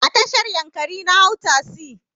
A tashar yankari na hau tasi.